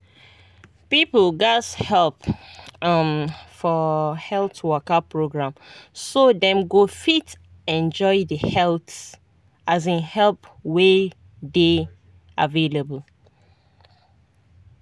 people gatz help um for health waka program so dem go fit enjoy the health um help wey dey available.